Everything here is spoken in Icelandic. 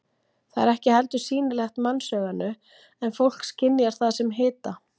Það er ekki heldur sýnilegt mannsauganu en fólk skynjar það sem hita.